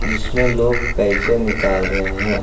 जिसमें लोग पैसे निकाल रहे हैं।